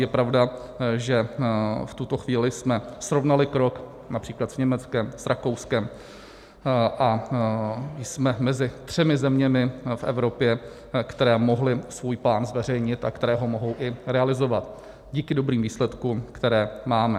Je pravda, že v tuto chvíli jsme srovnali krok například s Německem, s Rakouskem a jsme mezi třemi zeměmi v Evropě, které mohly svůj plán zveřejnit a které ho mohou i realizovat díky dobrým výsledkům, které máme.